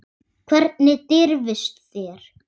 Hvernig dirfist þér.